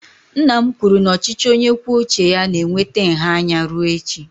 Nna m kwuru na ochichi onye kwuo uche ya na-eweta nha anya rue echi.